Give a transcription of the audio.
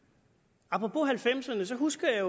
apropos nitten halvfemserne husker jeg